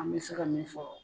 An me se ka min fɔ